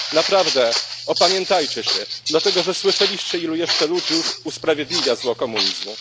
Naprawdę opamiętajcie się, dlatego że słyszeliście, ilu jeszcze ludzi usprawiedliwia zło komunizmu.